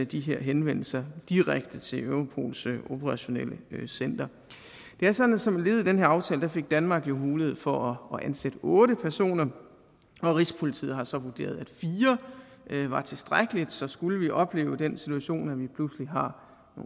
de her henvendelser direkte til europols operationelle center det er sådan at som led i den her aftale fik danmark jo mulighed for at ansætte otte personer og rigspolitiet har så vurderet at fire var tilstrækkeligt så skulle vi opleve den situation at vi pludselig har